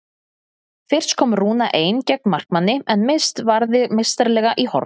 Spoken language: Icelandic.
Fyrst komst Rúna ein gegn markmanni en Mist varði meistaralega í horn.